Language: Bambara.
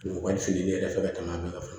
U ka fili ne yɛrɛ fɛ ka taa n'a bɛɛ ka